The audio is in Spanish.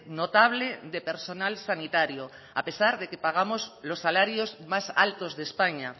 notable de personal sanitario a pesar de que pagamos los salarios más altos de españa